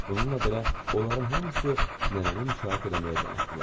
Bununla belə, onların hamısı nənəni müşayiət eləməyə can atdılar.